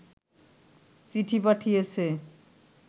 চিঠি পাঠিয়েছে